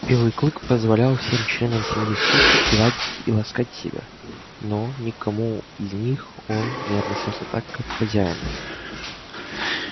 белый клык позволял всем членам семьи скотта гладить и ласкать себя но ни к кому из них он не относился так как к хозяину